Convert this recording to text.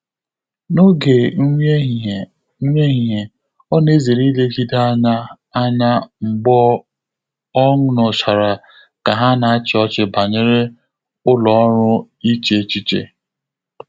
N’ógè nrí éhíhíé, nrí éhíhíé, ọ́ nà-èzéré ílégíde ányá ányá mgbè ọ́ nụ́chàrà kà há nà-àchị́ ọ́chị́ bànyèrè ụ́lọ́ ọ́rụ́ íché échíché.